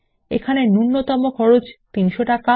এখানে নূন্যতম খরচ ৩০০ টাকা